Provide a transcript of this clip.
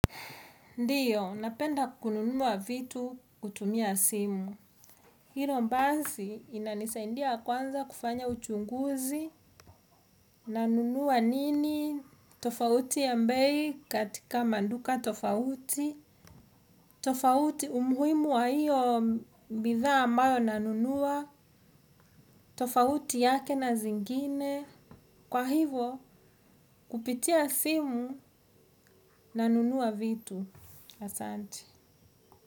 Ndiyo, napenda kununua vitu kwa kutumia simu. Hilo basi inanisaidia kwanza kufanya uchunguzi, nanunua nini, tofauti ya bei katika maduka tofauti, na umuhimu wa hiyo bidhaa ambayo nanunua tofauti yake na zingine, kwa hivo kupitia simu na nunua vitu asanti.